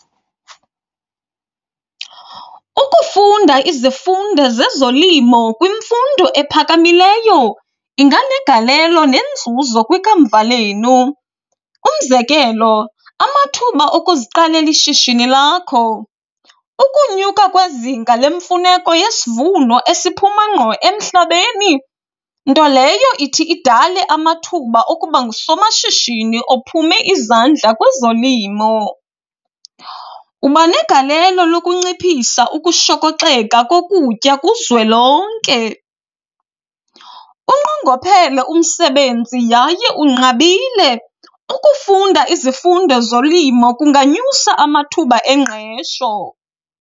Ukufunda izifundo zezolimo kwimfundo ephakamileyo inganegalelo nenzuzo kwikamva lenu, umzekelo amathuba okuziqalela ishishini lakho. Ukunyuka kwezinga lemfuneko yesivuno esiphuma ngqo emhlabeni, nto leyo ithi idale amathuba okuba ngusomashishini ophume izandla kwezolimo. Uba negalelo lokunciphisa ukushokoxeka kokutya kuzwelonke. Unqongophele umsebenzi yaye unqabile, ukufunda izifundo zolimo kunganyusa amathuba engqesho.